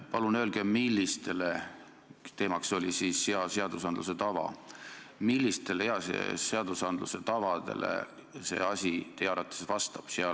Palun öelge, millistele tavadele – teemaks oli siis hea seadusloome tava – selle otsuse tegemine teie arvates vastab?